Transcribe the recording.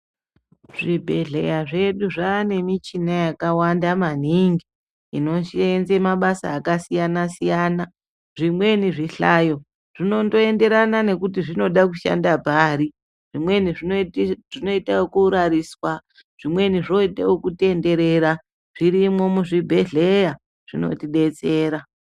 Zvi bhedhleya zvedu zvane michina yaka wanda maningi ino senze mabasa aka siyana siyana zvimweni zvi hlayo zvinondo enderana nekuti zvinoda kushanda pari zvimweni zvinoita yeku rariswa zvimweni zvoite yeku tenderera zvirimwo mu zvibhedhleya zvinoti betsera.